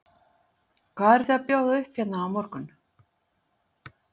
Hvað eruð þið að bjóða upp á hérna á morgun?